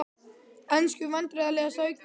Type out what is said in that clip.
Ensku Vandræðalegasta augnablik?